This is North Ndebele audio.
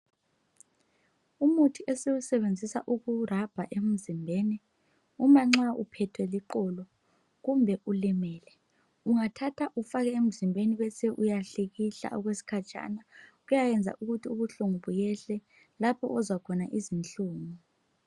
Umuthi esiwusebenzisa ukurabha emzimbeni uma nxa uphethwe liqolo kumbe ulimele. Ungathatha ufake emzimbeni bese uyahlikihla okwesikhatshana kuyayenza ukuthi ubuhlungu buyehle lapho ozwa khona izinhlungu.